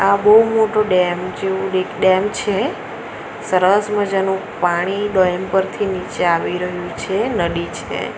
આ બહુ મોટો ડેમ જેવું એક ડેમ છે સરસ મજાનું પાણી ડેમ પરથી નીચે આવી રહ્યું છે નદી છે.